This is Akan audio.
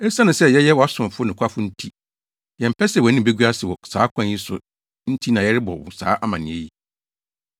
Esiane sɛ yɛyɛ wʼasomfo nokwafo nti, yɛmpɛ sɛ wʼanim begu ase wɔ saa kwan yi so nti na yɛrebɔ wo saa amanneɛ yi.